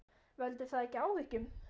Veldur það ekki áhyggjum?